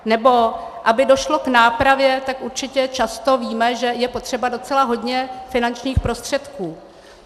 Nebo aby došlo k nápravě, tak určitě často víme, že je potřeba docela hodně finančních prostředků.